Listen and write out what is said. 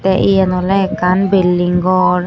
tay eyen olay ekkan bilding gor.